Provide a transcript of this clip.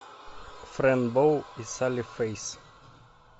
френ боу и салли фейс